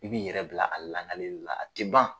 I b'i yɛrɛ bila a langaleli la a tɛ ban.